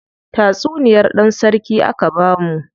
Tatsuniyar dan sarki aka bamu.